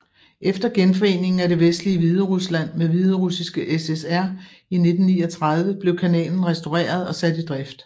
Efter genforeningen af det vestlige Hviderusland med Hviderussiske SSR i 1939 blev kanalen restaureret og sat i drift